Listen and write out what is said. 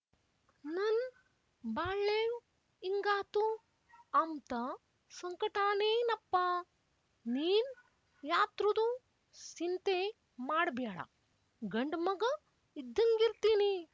ನನ್ ಬಾಳ್ಳೇವ್ ಇಂಗಾತು ಅಂಬ್ತ ಸಂಕಟಾನೇನಪ್ಪಾ ನೀನ್ ಯಾತ್ರುದು ಸಿಂತೆ ಮಾಡ್‍ಬ್ಯಾಡ ಗಂಡ್‍ಮಗ ಇದ್ದಂಗಿರ್ತೀನಿ